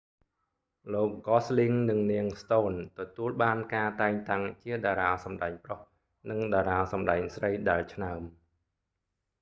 លោកហ្កសស្ល៊ីង gosling និង នាងស្តូន stone ទទួលបានការតែងតាំងជាតារាសម្តែងប្រុសនិងតារាសម្តែងស្រីដែលឆ្នើម